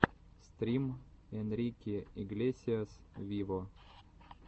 стрим энрике иглесиас виво